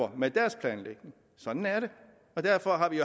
med deres planlægning sådan er det og derfor har vi